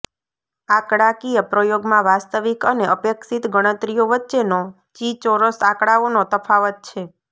આંકડાકીય પ્રયોગમાં વાસ્તવિક અને અપેક્ષિત ગણતરીઓ વચ્ચેનો ચી ચોરસ આંકડાઓનો તફાવત છે